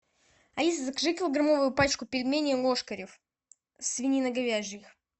алиса закажи килограммовую пачку пельменей лошкарев свининоговяжьих